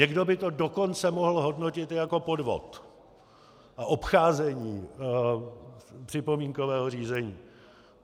Někdo by to dokonce mohl hodnotit jako podvod a obcházení připomínkového řízení.